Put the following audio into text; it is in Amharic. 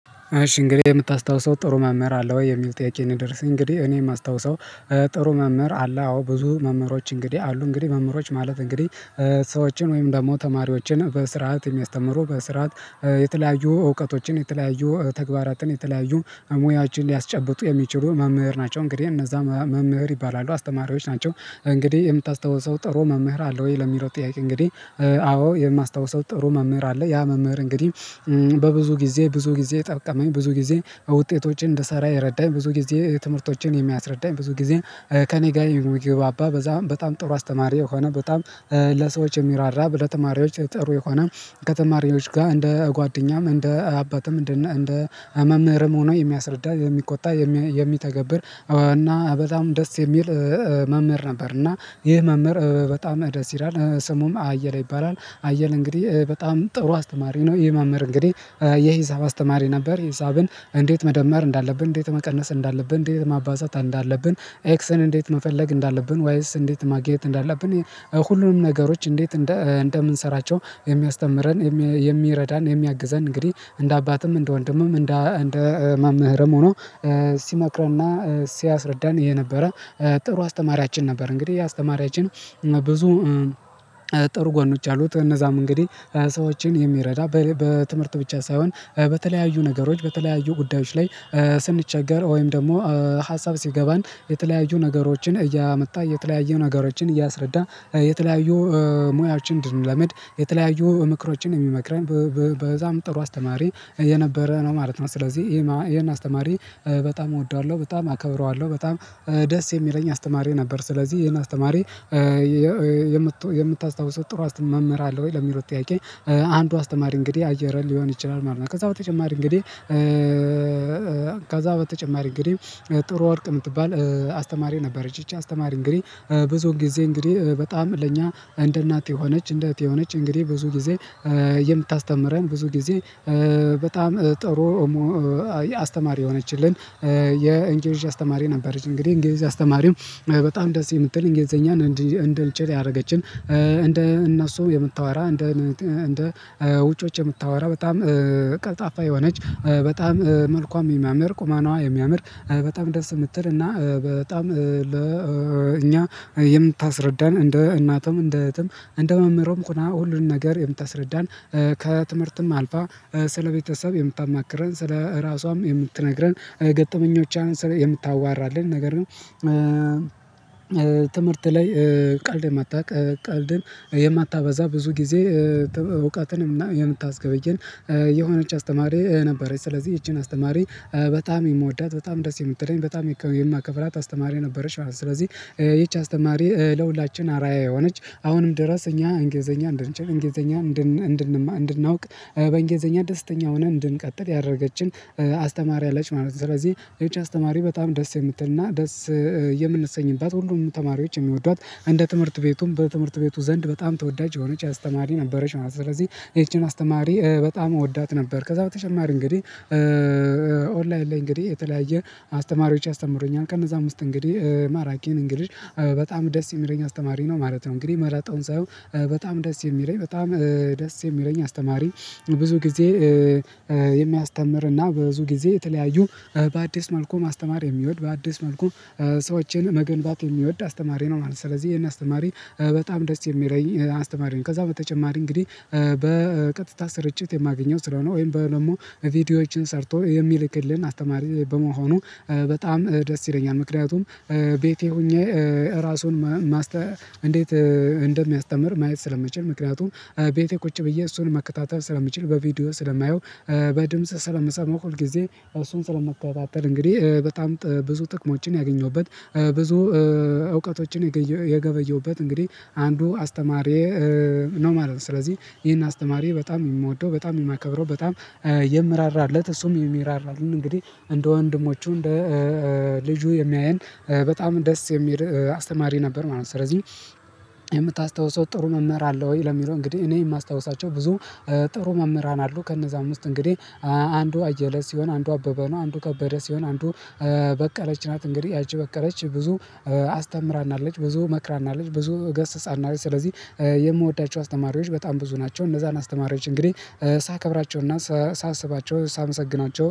እሺ እንግዲህ የምታስታውሰው ጥሩ መምህር አለ ወይ የሚል ጥያቄ ነው? የምደርሰው እንግዲህ እኔ የማስታውሰው። ጥሩ መምህር አለ አዎ ብዙ መምህሮች እንግዲህ አሉ እንግዲህ መምህሮች ማለት እንግዲህ ሰዎችን ወይም ደግሞ ተማሪዎችን በስርዓት የሚያስተምሩ በስርዓት የተለያዩ እውቀቶችን የተለያዩ ተግባራትን የተለያዩ ሙያችን ሊያስጨብጡ የሚችሉ መምህር ናቸው። እንግዲህ እነዛ መምህር ይባላሉ አስተማሪዎች ናቸው። እንግዲህ የምታስተውሰው ጥሩ መምህር አለው ወይ ለሚለው ጥያቄ እንግዲህ አዎ የማስታውሰው ጥሩ መምህር አለ ያ መምህር እንግዲህ። በብዙ ጊዜ ብዙ ጊዜ ጠቀመኝ ብዙ ጊዜ ከውጤት ወጪ እንድሰራ የረዳኝ ብዙ ጊዜ ትምህርቶችን የሚያስረዳኝ ብዙ ጊዜ። ከእኔ ጋር የሚግባባ በዛም በጣም ጥሩ አስተማሪ የሆነ በጣም ለሰዎች የሚራራ ለተማሪዎች ጥሩ የሆነ ከተማሪዎች ጋር እንደ ጓደኛም እንደ አባትም እንደ እንደ መምህርም ሆኖ የሚያስረዳ የሚቆጣ የሚተገብር እና በጣም ደስ የሚል መምህር ነበር። እና ይህ መምህር በጣም ደስ ይላል ስሙም አየለ ይባላል አየለ እንግዲህ በጣም ጥሩ አስተማሪ ነው። ይህ መምህር እንግዲህ የሂሳብ አስተማሪ ነበር። ሂሳብን እንዴት መደመር እንዳለብን እንዴት መቀነስ እንዳለብን እንዴት ማባዛት እንዳለብን ኤክስን እንዴት መፈለግ እንዳለብን ወይስ እንዴት ማግኘት እንዳለብን ሁሉንም ነገሮች እንዴት እንደ እንደምንሰራቸው የሚያስተምረን የሚረዳን የሚያግዘን እንግዲህ እንደ አባትም እንደ ወንድምም እንደ ማምህርም ሆኖ ሲመክረንና ሲያስረዳን ይሄ ነበረ። ጥሩ አስተማሪያችን ነበር። እንግዲህ ይህ አስተማሪያችን ብዙ ጥሩ ጎኖች አሉት። እነዛም እንግዲህ ሰዎችን የሚረዳ በትምህርት ብቻ ሳይሆን በተለያዩ ነገሮች በተለያዩ ጉዳዮች ላይ ስንቸገር ወይም ደግሞ ሀሳብ ሲገባን የተለያዩ ነገሮችን እያመጣ የተለያዩ ነገሮችን እያስረዳ የተለያዩ ሙያዎችን እንድንለምድ የተለያዩ ምክሮችን የሚመክረን በዛም ጥሩ አስተማሪ የነበረ ነው ማለት ነው። ስለዚህ ይሄን አስተማሪ በጣም እወደዋለሁ በጣም አከብረዋለሁ በጣም ደስ የሚለኝ አስተማሪ ነበር። ስለዚህ ይሄን አስተማሪ የምታስታውሰው ጥሩ መምህር አለ ወይ ለሚለው ጥያቄ አንዱ አስተማሪ እንግዲህ አየለ ሊሆን ይችላል ማለት ነው። ከዛ በተጨማሪ እንግዲህ ከዛ በተጨማሪ እንግዲህ ጥሩ ወርቅ የምትባል አስተማሪ ነበረች ይቺ አስተማሪ እንግዲህ ብዙ ጊዜ እንግዲህ በጣም ለእኛ እንደ እናት የሆነች እንደ እህት የሆነች እንግዲህ ብዙ ጊዜ የምታስተምረን ብዙ ጊዜ በጣም ጥሩ አስተማሪ የሆነችልን የእንግሊዥ አስተማሪ ነበረች። እንግዲህ እንግሊዝ አስተማሪው በጣም ደስ የምትል እንግሊዘኛን እንድልችል ያደረገችን እንደ እነሱ የምታወራ እንደ እንደ ውጮች የምታወራ በጣም ቀልጣፋ የሆነች በጣም መልኳም የሚያምር ቁማኗ የሚያምር በጣም ደስ የምትል እና በጣም ለእኛ የምታስረዳን እንደ እናትም እንደ እህትም እንደ መምህርም ሁና ሁሉን ነገር የምታስረዳን ከትምህርትም አልፋ ስለቤተሰብ የምታማክረን ራሷም የምትነግረን ገጠመኞች የምታዋራልን ነገር ግን ትምህርት ላይ ቀልድ የማታውቅ ቀልድን የማታበዛ ብዙ ጊዜ እውቃትንም እና የምታስገበየን የሆነች አስተማሪ ነበረች። ስለዚህ እችን አስተማሪ በጣም የምወዳት በጣም ደስ የምትለኝ በጣም የማከብራት አስተማሪ ነበረሽ ማለት ነው። ስለዚህ ይቺ አስተማሪ ለሁላችን አርአያ የሆነች አሁንም ድረስ እኛ እንግሊዘኛ እንደንችል እንግሊዘኛ እንድናውቅ በእንግሊዘኛ ደስተኛ ሆነን እንድንቀጥል ያደረገችን አስተማሪ አለች ማለት ነው። ስለዚህ ይህች አስተማሪ በጣም ደስ የምትልና ደስ የምንሰኝባት ሁሉም ተማሪዎች የሚወዷት እንደ ትምህርት ቤቱም በትምህርት ቤቱ ዘንድ በጣም ተወዳጅ የሆነች አስተማሪ ነበረች ማለት ነው። ስለዚህ ይቺን አስተማሪ በጣም እወዳት ነበር። ከዛ በተጨማሪ እንግዲህ ኦንላይን ላይ እንግዲህ የተለያየ አስተማሪዎች ያስተምሩኛል ከነዛም ውስጥ እንግዲህ ማራኪን እንግሊዝ በጣም ደስ የሚለኝ አስተማሪ ነው ማለት ነው። እንግዲህ መረጣውን ሳይሆን በጣም ደስ የሚለኝ በጣም ደስ የሚለኝ አስተማሪ ብዙ ጊዜ የሚያስተምርና በብዙ ጊዜ የተለያዩ በአዲስ መልኩ ማስተማር የሚወድ በአዲስ መልኩ ሰዎችን መገንባት የሚወድ አስተማሪ ነው ማለት ነው። ስለዚህ ይሄን አስተማሪ በጣም ደስ የሚለኝ አስተማሪ ነው ከዛ በተጨማሪ እንግዲህ በቀጥታ ስርጭት የማገኘው ስለሆነ ወይም ደግሞ ቪዲዮዎችን ሰርቶ የሚልክልን አስተማሪ በመሆኑ በጣም ደስ ይለኛል። ምክንያቱም ቤቴ ሆኜ ራሱን እንዴት እንደሚያስተምር ማየት ስለመችል ምክንያቱም ቤቴ ቁጭ ብዬ እሱን መከታተል ስለምችል በቪዲዮ ስለማየው በድምጽ ስለምሰማው ሁል ጊዜ እሱን ስለምከታተል እንግዲህ በጣም ብዙ ጥቅሞችን ያገኘሁበት ብዙ እውቀቶችን የገበየሁበት እንግዲህ አንዱ አስተማሪ ነው ማለት ነው ስለዚህ ይሄን አስተማሪ በጣም የምወደው በጣም የማከብረው በጣም የምራራለት እሱም የሚራራልን እንግዲህ እንደ ወንድሞቹ እንደ ልጁ የሚያየን በጣም ደስ የሚል አስተማሪ ነበር ማለት ነው። ስለዚህ የምታስታውሰው ጥሩ መምህር አለ ወይ ለሚለው እንግዲህ እኔ የማስታውሳቸው ብዙ ጥሩ መምህራን አሉ ከነዛ አምስት እንግዲህ አንዱ አየለ ሲሆን አንዱ አበበ ነው። አንዱ ከበደ ሲሆን አንዱ በቀለች ናት። እንግዲህ ያቺ በቀለች ብዙ አስተምራናለች ብዙ መክራናለች ብዙ ገስጻናለች ስለዚህ የምወዳቸው አስተማሪዎች በጣም ብዙ ናቸው። እነዛን አስተማሪዎች እንግዲህ ሳከብራቸውና ሳስባቸው ሳመሰግናቸው